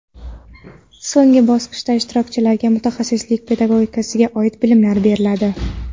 So‘nggi bosqichda ishtirokchilarga mutaxassislik pedagogikasiga oid bilimlar beriladi.